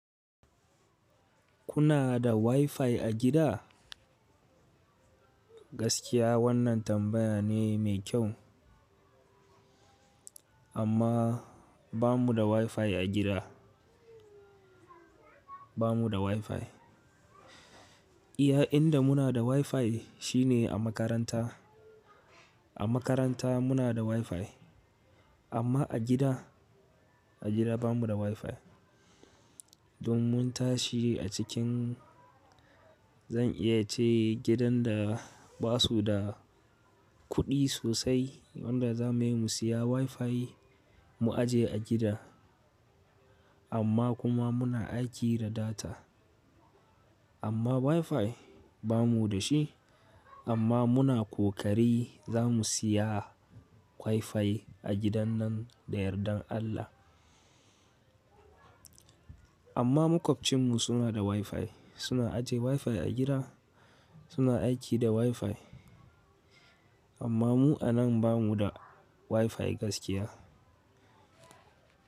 Kuna da WiFi a gida? Gaskiya wannan tambaya ne mai kyau. Amma ba mu da WiFi a gida. Ba mu da WiFi. Iya inda muna da WiFi shine a makaranta. A makaranta muna da WiFi amma a gida, a gida ba mu da WiFi. Don mun tashi a cikin zan iya ce gidan da basu da kuɗi sosai wadda za muyi mu siya WiFi mu aje a gida. Amma kuma muna aiki da data. Amma WiFi ba mu da shi. Amma muna ƙoƙari za mu siya WiFi a gidan nan da yardan Allah. Amma maƙwabcinmu suna da WiFi. Suna aje WiFi a gida. Suna aiki da WiFi. Amma mu a nan ba mu da WiFi gaskiya.